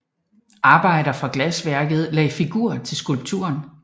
Arbejdere fra glasværket lagde figur til skulpturen